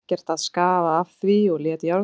Þessi var ekkert að skafa af því og lét járna sig.